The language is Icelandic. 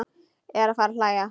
Eða fara að hlæja.